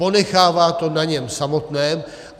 Ponechává to na něm samotném.